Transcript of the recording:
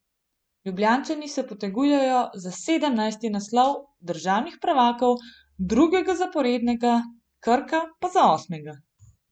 Ljubljančani se potegujejo za sedemnajsti naslov državnih prvakov, drugega zaporednega, Krka pa za osmega.